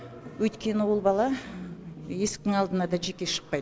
өйткені ол бала есіктің алдына да жеке шықпайды